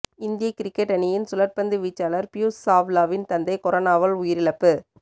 இந்திய கிரிக்கெட் அணியின் சுழற் பந்து வீச்சாளர் பியூஸ் சாவ்லாவின் தந்தை கொரோனாவால் உயிரிழப்பு